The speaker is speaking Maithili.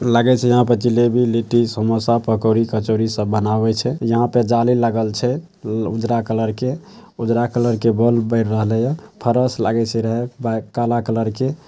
लागे छै यहाँ पे जलेबी लिट्टी समोसा पकौड़ी कचौड़ी सब बनाबे छै। यहाँ पे जाली लागल छै उजरा कलर के। उजरा कलर के बोल बेर रहले। ये फरश लागे छै रहे वाई काला कलर के ।